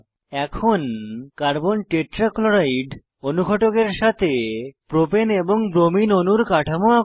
এখন carbon tetrachloride অনুঘটকের সাথে প্রোপেন এবং ব্রোমিন অণুর কাঠামো আঁকুন